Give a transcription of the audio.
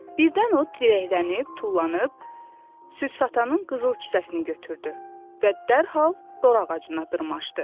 Birdən o dirəklənib, tullanıb, süd satanın qızıl kisəsini götürdü və dərhal dor ağacına dırmaşdı.